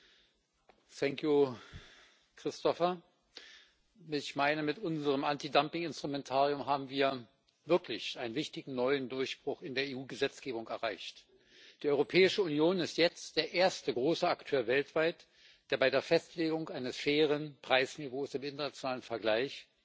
Vielen Dank, Christofer! Ich meine, mit unserem Antidumpinginstrumentarium haben wir wirklich einen wichtigen neuen Durchbruch in der EU Gesetzgebung erreicht. Die Europäische Union ist jetzt der erste große Akteur weltweit, der bei der Festlegung eines fairen Preisniveaus im internationalen Vergleich